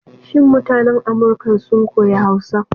Shin mutanan Amurkan sun koyi Hausa?